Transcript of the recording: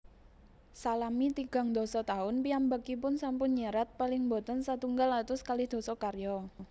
Salami tigang dasa taun piyambakipun sampun nyerat paling boten setunggal atus kalih dasa karya